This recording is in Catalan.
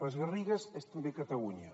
les garrigues són també catalunya